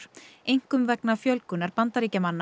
einkum vegna fjölgunar Bandaríkjamanna